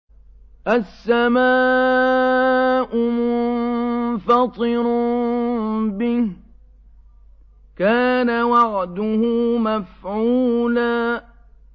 السَّمَاءُ مُنفَطِرٌ بِهِ ۚ كَانَ وَعْدُهُ مَفْعُولًا